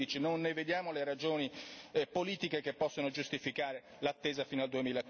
2015. Non vediamo le ragioni politiche che possano giustificare l'attesa fino al